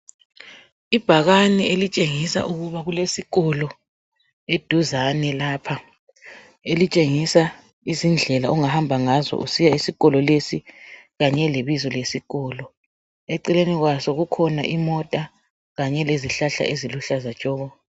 Ibhakani elitshengisa ukubana kulesikolo eduzani lapha elitshengisa izindlela ongahamba ngazo usiya esikolo lesi kanye lebizo lesikolo eceleni kwaso kukhona imota kanye lezihlahla eziluhlaza tshoko